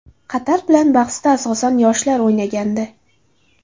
Qatar bilan bahsda, asosan, yoshlar o‘ynagandi.